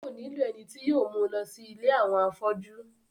yóò nílò ẹni tí yóò mú u lọ sí ilé àwọn afọ́jú